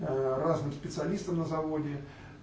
разным специалистам на заводе